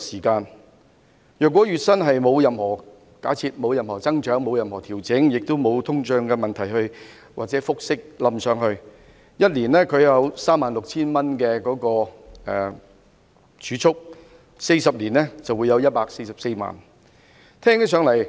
假設月薪沒有任何增長或調整，亦沒有通脹或複息累積，他每年儲蓄 36,000 元 ，40 年便有144萬元。